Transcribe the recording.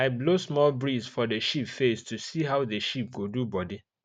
i blow small breeze for the sheep face to see how the sheep go do body